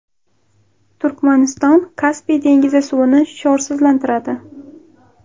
Turkmaniston Kaspiy dengizi suvini sho‘rsizlantiradi.